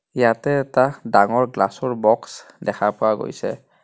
ইয়াতে এটা ডাঙৰ গ্লাছ ৰ বক্স দেখা পোৱা গৈছে.